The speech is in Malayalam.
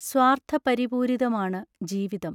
സ്വാർഥപരി പൂരിതമാണു ജീവിതം!